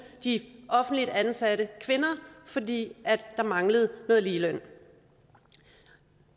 de offentligt ansatte kvinder fordi der manglede noget ligeløn